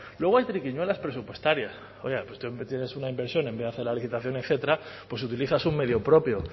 luego hay triquiñuelas presupuestarias tienes una inversión en vez de hacer la licitación etcétera utilizas un medio propio